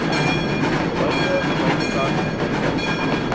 buite buitekant buite